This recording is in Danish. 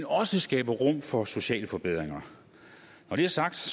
også skaber rum for sociale forbedringer når det er sagt